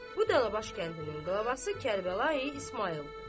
Bu dənəbaş kəndinin qolavası Kərbəlayı İsmayıldır.